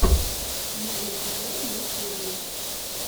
моголь тв в ютьюбе